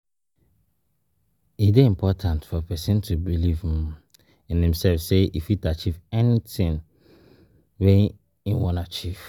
E de important for persin to believe um in imself say e fit achieve anything um wey im won achieve